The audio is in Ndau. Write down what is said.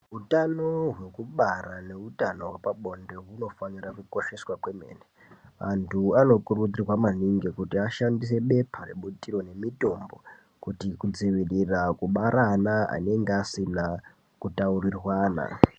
Utano hwekubara nehutano hwepabonde hunofanira kukosheswa kwemene antu anokurudzirwa kuti ashandi se bepa rebutiro nemitombo kuti kudzivirira kubara ana anenge asina kutaurirwana.